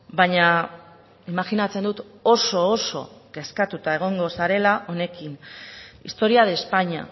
baina imajinatzen dut oso oso kezkatuta egongo zarela honekin historia de españa